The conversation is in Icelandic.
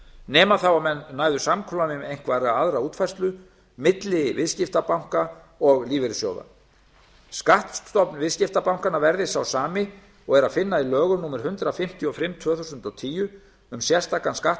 nema þá að menn næðu samkomulagi um einhverja aðra útfærslu milli viðskiptabanka og lífeyrissjóða skattstofn viðskiptabankanna verði sá sami og er að finna í lögum númer hundrað fimmtíu og fimm tvö þúsund og tíu um sérstakan skatt